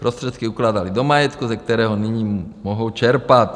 Prostředky ukládaly do majetku, ze kterého nyní mohou čerpat.